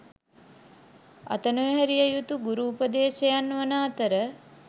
අත නොහැරිය යුතු ගුරු උපදේශයන් වන අතර